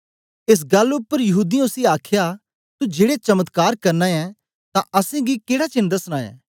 एस गल्ल उपर यहूदीयें उसी आखया तू जेड़े चमत्कार करना ऐं तां असेंगी केड़ा चेन्न दसना ऐ